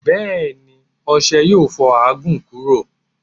Bẹẹni, ọṣẹ yo fo ààgún kuro